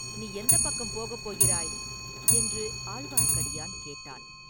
நீ எந்தப் பக்கம் போகப் போகிறாய்?” என்று ஆழ்வார்க்கடியான் கேட்டான்.